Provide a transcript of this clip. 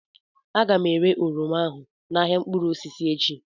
Aga m ere oroma ahụ n'ahịa mkpụrụ osisi echi